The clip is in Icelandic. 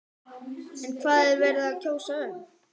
En hvað er verið að kjósa um?